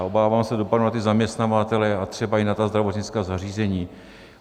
A obávám se dopadu na ty zaměstnavatele a třeba i na ta zdravotnická zařízení.